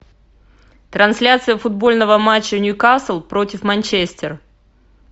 трансляция футбольного матча ньюкасл против манчестер